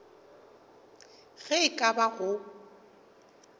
ge e ka ba go